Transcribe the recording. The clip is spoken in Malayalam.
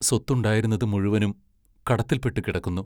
സ്വത്തുണ്ടായിരുന്നതു മുഴുവനും കടത്തിൽപ്പെട്ടു കിടക്കുന്നു.